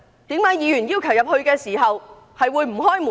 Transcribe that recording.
為何議員要求進入時不開門？